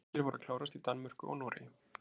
Leikir voru að klárast í Danmörku og Noregi.